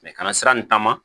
kana sira nin taama